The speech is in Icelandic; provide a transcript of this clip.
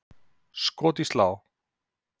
Skot í slá!